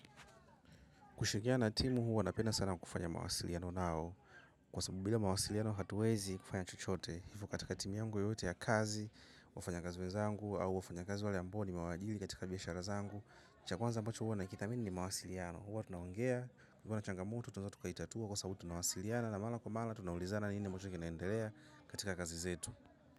Kushirikiana na timu huwa napenda sana kufanya mawasiliano nao kwa sababu bila mawasiliano hatuwezi kufanya chochote hivyo katika timu yangu yotote ya kazi, wafanya kazi wezangu au wafanya kazi wale ambao nimewajiri katika biashara zangu. Cha kwanza ambacho huwa na kithamini ni mawasiliano huwa tunaongea, kukiwa na changamutu tunaeza tukaitatua kwa sababu tunawasiliana na mara kwa mara tunaulizana nini ambacho kinaendelea katika kazi zetu.